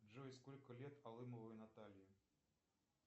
джой сколько лет алымовой наталье